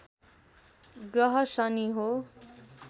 ग्रह शनि हो